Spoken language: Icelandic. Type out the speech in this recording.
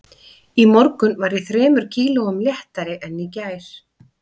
Í morgun var ég þremur kílóum léttari en í gær